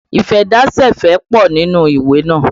Ìfẹ́dásẹ̀fẹ̀ pọ nínú ìwé naa